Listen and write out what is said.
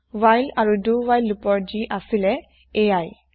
while আৰু do while লোপৰ যি আছিলে এইয়াই